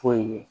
Foyi ye